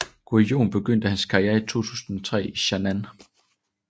Guðjón begyndte hans karriere i 2003 i Stjarnan